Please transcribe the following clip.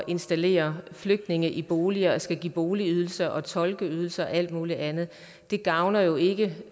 installere flygtninge i boliger og skal give boligydelser og tolkeydelser og alt mulig andet det gavner jo ikke